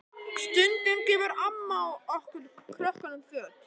Stundum gefur amma okkur krökkunum föt.